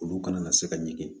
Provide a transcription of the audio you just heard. Olu kana na se ka ɲɛgɛn